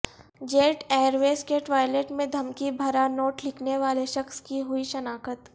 jet Airways کے toilet میں دھمکی بھرا نوٹ لکھنے والے شخص کی ہوئی شناخت